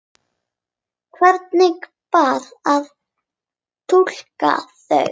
Hvernig bar að túlka þau?